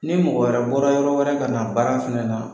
Ni mɔgɔ wɛrɛ bɔra yɔrɔ wɛrɛ kana baara fɛnɛ na